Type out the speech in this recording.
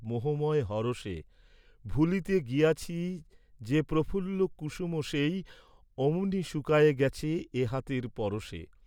মোহময় হরষে, ভুলিতে গিয়াছি যে, প্রফুল্ল কুসুম সেই অমনি শুকায়ে গেছে এ হাতের পরশে।